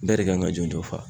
Bɛɛ de kan ka jɔnjɔn fa